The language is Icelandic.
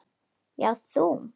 Já, þú!